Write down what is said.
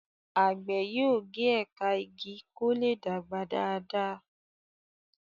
àgbè yóò ge ẹka ìgi kò lẹ dàgbà Dàda.